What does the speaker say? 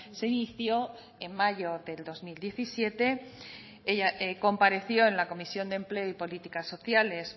se inició en mayo de dos mil diecisiete compareció en la comisión de empleo y políticas sociales